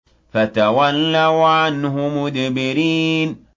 فَتَوَلَّوْا عَنْهُ مُدْبِرِينَ